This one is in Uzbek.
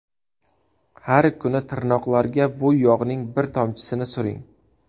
Har kuni tirnoqlarga bu yog‘ning bir tomchisini suring.